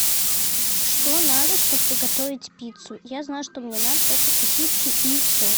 что надо чтобы приготовить пиццу я знаю что мне надо только сосиски и все